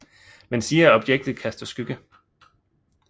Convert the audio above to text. Man siger at objektet kaster skygge